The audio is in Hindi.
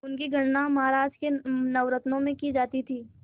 उनकी गणना महाराज के नवरत्नों में की जाती थी